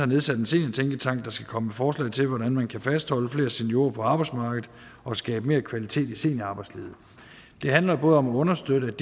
nedsatte en seniortænketank der skal komme med forslag til hvordan vi kan fastholde flere seniorer på arbejdsmarkedet og skabe mere kvalitet i seniorarbejdslivet det handler om at understøtte